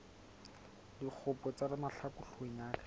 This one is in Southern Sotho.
dikgopo tsa mahlaku hloohong ya